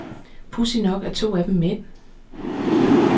Pudsigt nok er to af dem mænd.